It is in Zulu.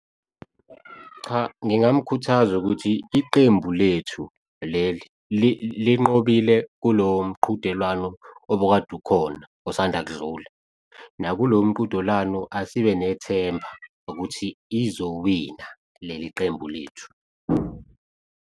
Cha, ngingamukhuthaza ukuthi iqembu lethu leli linqobile kulowo mqhudelwano obukade ukhona, osanda kudlula nakulowo mqhudelwano asibe nethemba ukuthi lizowina leli qembu lethu.